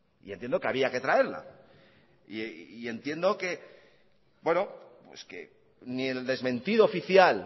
y entiendo que había que traerla y entiendo que ni el desmentido oficial